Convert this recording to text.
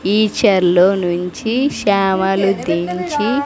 ఈ చైర్లో నుంచి శామలు దించి.